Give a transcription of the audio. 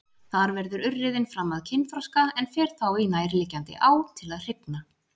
Þar verður urriðinn fram að kynþroska en fer þá í nærliggjandi á til að hrygna.